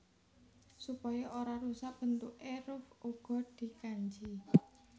Supaya ora rusak bentukké ruff uga dikanji